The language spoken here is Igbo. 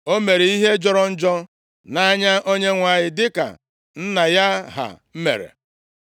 O mere ihe jọrọ njọ nʼanya Onyenwe anyị, dịka nna ya ha mere.